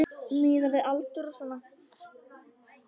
Miðað við aldur og svona.